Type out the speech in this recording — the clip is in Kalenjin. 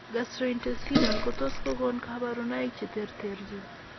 Gastrointestinal kotot ko gon kabarunaik che terterchin